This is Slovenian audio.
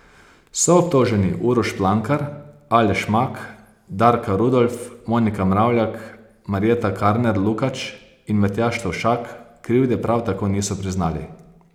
Soobtoženi Uroš Plankar, Aleš Mak, Darka Rudolf, Monika Mravljak, Marjeta Karner Lukač in Matjaž Tovšak krivde prav tako niso priznali.